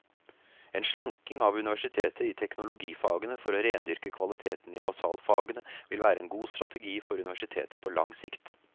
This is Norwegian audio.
En slanking av universitetet i teknologifagene for å rendyrke kvaliteten i basalfagene vil være en god strategi for universitetet på lang sikt.